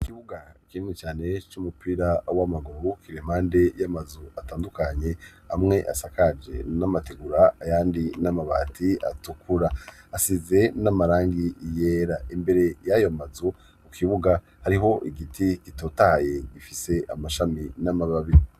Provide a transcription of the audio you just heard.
Ikibuga kinini cane c'umupira w'amaguru kiremande y'amazu atandukanye amwe asakaje n'amategura ayandi n'amabati atukura asize n'amarangi ryera imbere y'ayo mazu u kibuga hariho igiti gitotaye gifise amashami n'amababi.